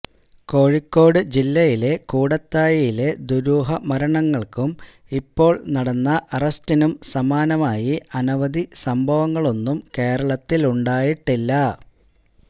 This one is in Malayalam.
കോഴിക്കോട് ജില്ലയിലെ കൂടത്തായിയിലെ ദുരൂഹ മരണങ്ങള്ക്കും ഇപ്പോള് നടന്ന അറസ്റ്റിനും സമാനമായി അനവധി സംഭവങ്ങളൊന്നും കേരളത്തിലുണ്ടായിട്ടില്ല